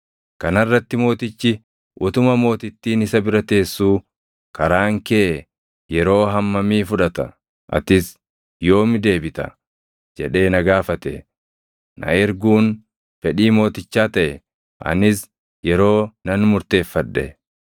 Kana irratti mootichi utuma mootittiin isa bira teessuu, “Karaan kee yeroo hammamii fudhata? Atis yoomi deebita?” jedhee na gaafate. Na erguun fedhii mootichaa taʼe; anis yeroo nan murteeffadhe.